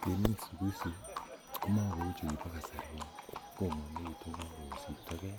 Temik siku hizi komakouu chukibo kasari kinyet kong'omekitu kosiptogee